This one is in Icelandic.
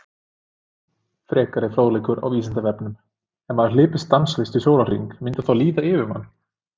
Frekari fróðleikur á Vísindavefnum: Ef maður hlypi stanslaust í sólarhring myndi þá líða yfir hann?